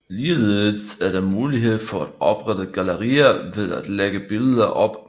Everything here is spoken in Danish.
Ligeledes er der mulighed for at oprette gallerier ved at lægge billeder op